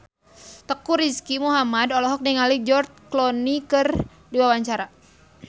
Teuku Rizky Muhammad olohok ningali George Clooney keur diwawancara